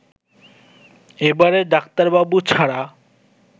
এবারে ডাক্তারবাবু ছাড়া